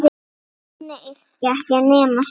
Þannig yrkja ekki nema skáld!